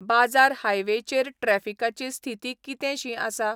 बाजार हायवेचेर ट्रॅफिकाची स्थीति कितेंशी आसा?